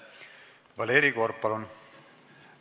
Valeri Korb, palun!